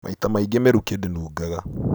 Maita maingĩ mĩrukĩ ndĩnungaga